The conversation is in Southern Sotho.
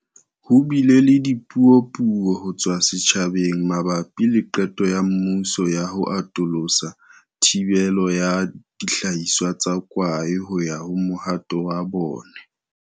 Ho bile le dipuo-puo ho tswa setjhabeng mabapi le qeto ya mmuso ya ho atolosa thibelo ya dihlahiswa tsa kwae ho ya ho mohato wa bone.